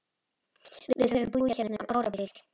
Við höfum búið hérna um árabil!